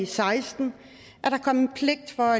seksten at der kom en pligt for